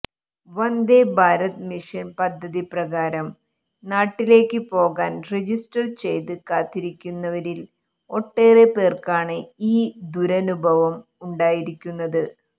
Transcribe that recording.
Vande Bharat mission പദ്ധതി പ്രകാരം നാട്ടിലേക്കു പോകാൻ രജിസ്റ്റർ ചെയ്ത് കാത്തിരിക്കുന്നവരിൽ ഒട്ടേറെ പേർക്കാണ് ഈ ദുരനുഭവം ഉണ്ടായിരിക്കുന്നത്